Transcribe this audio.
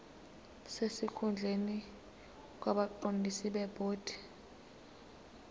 sesikhundleni kwabaqondisi bebhodi